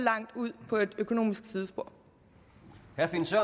bund